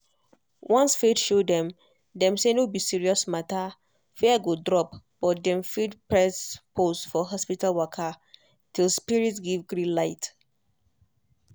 once faith show dem dem say no be serious matter fear go drop but dem fit press pause for hospital waka till spirit give green light.